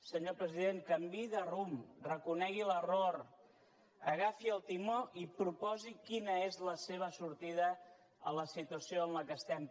senyor president canviï de rumb reconegui l’error agafi el timó i proposi quina és la seva sortida de la situació en què estem